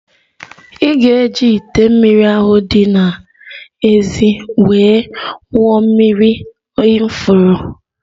Ị ga-eji ite mmiri ahụ di n'ézì wee wụọ mmiri n'ifuru